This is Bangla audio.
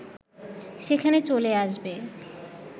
সেখানে চলে আসবে